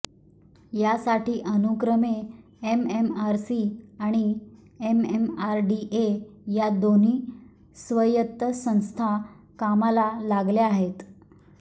यासाठी अनुक्रमे एमएमआरसी आणि एमएमआरडीए या दोन्ही स्वायत्त संस्था कामाला लागल्या आहेत